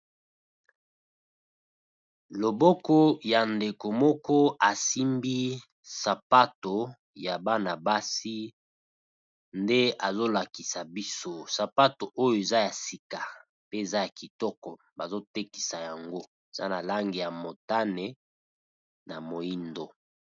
Loboko ya ndeko moko asimbi sapato ya bana-basi nde azo lakisa biso, sapato oyo eza ya sika pe eza ya kitoko bazo tekisa yango eza na langi ya motane na moyindo.